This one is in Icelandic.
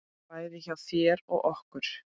Bæði hjá þér og okkur.